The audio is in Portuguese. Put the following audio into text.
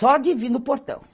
Só de vir no portão.